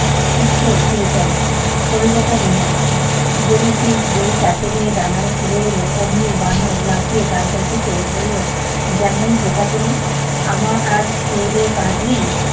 শীঘ্রই ফিরে চলো, কলিজাটা নিয়ে আসি। জেলিফিশ যেই তাকে নিয়ে ডাঙ্গায় ফিরে এলো অমনি বানর লাফিয়ে তালগাছে চড়ে বলল, যেমন বোকা তুমি। আমার আর খেয়েদেয়ে কাজ নেই?